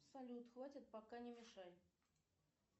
салют хватит пока не мешай